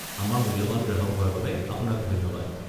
আমাৰ মূল্যৱান গ্ৰাহক হোৱাৰ বাবে আপোনাক ধন্যবাদ।